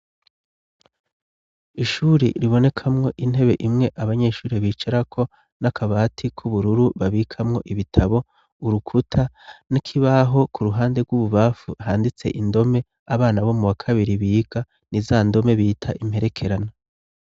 Ishuri ribonekamwo intebe imwe abanyeshure bicara ko n'akabati k'ubururu babikamwo ibitabo urukuta nk'ibaho ku ruhande rw'ububamfu handitse indome abana bo mu wa kabiri biga n'iza ndome bita imperekerana.